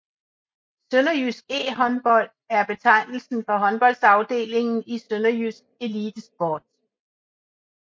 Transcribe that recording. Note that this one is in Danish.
SønderjyskE Håndbold er betegnelsen for håndboldafdelingen i Sønderjysk Elitesport